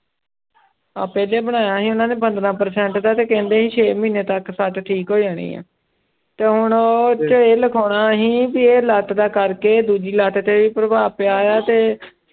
ਆਹ ਪਹਿਲੇ ਬਣਾਇਆ ਸੀ ਉਹਨਾਂ ਨੇ ਪੰਦਰਾਂ percent ਦਾ ਤੇ ਕਹਿੰਦੇ ਸੀ ਛੇ ਮਹੀਨੇ ਤੱਕ ਸੱਟ ਠੀਕ ਹੋ ਜਾਣੀ ਹੈ, ਤੇ ਹੁਣ ਉੱਥੇ ਇਹ ਲਖਾਉਣਾ ਅਸੀਂ ਵੀ ਇਹ ਲੱਤ ਦਾ ਕਰਕੇ ਦੂਜੀ ਲੱਤ ਤੇ ਪ੍ਰਭਾਵ ਪਿਆ ਆ ਤੇ